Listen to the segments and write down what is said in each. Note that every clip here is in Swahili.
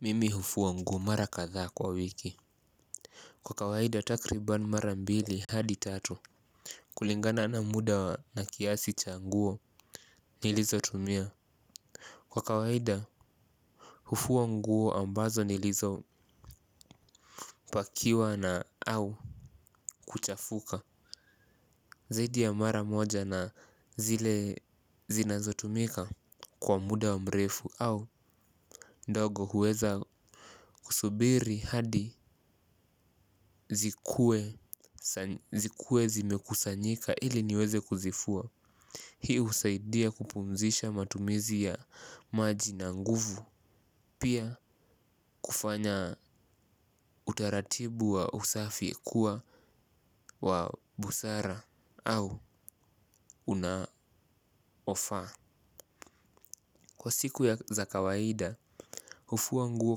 Mimi hufua nguo mara kadhaa kwa wiki. Kwa kawaida takribani mara mbili hadi tatu. Kulingana na muda na kiasi cha nguo nilizotumia. Kwa kawaida hufua nguo ambazonilizopakiwa na au kuchafuka. Zaidi ya mara moja na zile zinazotumika kwa muda wa mrefu au ndogo huweza kusubiri hadi zikue zimekusanyika ili niweze kuzifua. Hii husaidia kupumzisha matumizi ya maji na nguvu. Pia kufanya utaratibu wa usafi kuwa wa busara au unaofaa. Kwa siku ya za kawaida, hufua nguo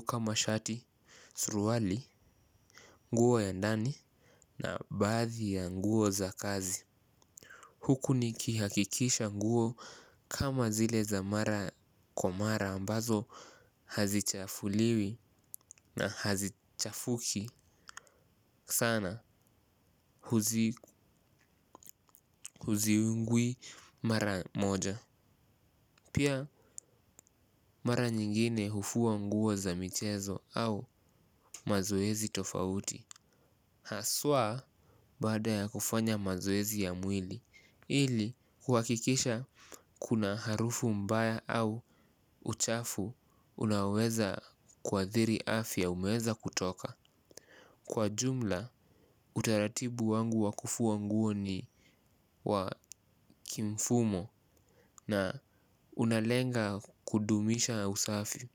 kama shati, suruali, nguo ya ndani. Na baadhi ya nguo za kazi huku nikihakikisha nguo kama zile za mara kwa mara ambazo hazichafuliwi na hazichafuki sana huziungui mara moja. Pia mara nyingine hufua nguo za michezo au mazoezi tofauti. Haswa baada ya kufanya mazoezi ya mwili ili kuhakikisha kuna harufu mbaya au uchafu unaoweza kuathiri afya umeweza kutoka. Kwa jumla utaratibu wangu wa kufua nguo ni wa kimfumo na unalenga kudumisha usafi.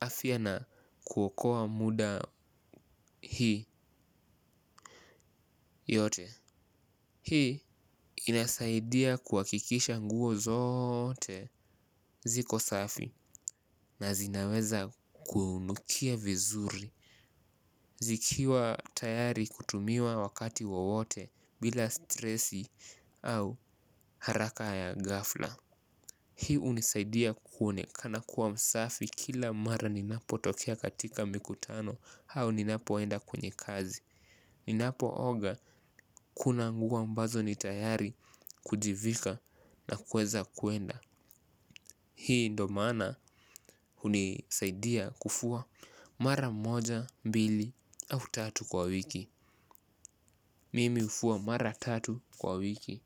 Afya na kuokoa muda hii yote hii inasaidia kuhakikisha nguo zote ziko safi na zinaweza kuunukia vizuri. Ikiwa tayari kutumiwa wakati wowote bla stress au haraka ya ghafla hii hunisaidia kuonekana msafi kila mara ninapotokea katika mikutano au ninapoenda kwenye kazi. Ninapooga kuna nguo ambazo ni tayari kujivika na kuweza kwenda. Hii ndo maana hunisaidia kufua mara moja, mbili au tatu kwa wiki. Mimi hufua mara tatu kwa wiki.